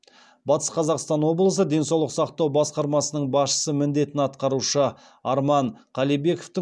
батыс қазақстан облысы денсаулық сақтау басқармасының басшысы міндетін атқарушы арман қалибековтің